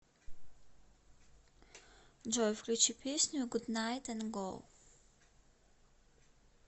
джой включи песню гуднайт эн гоу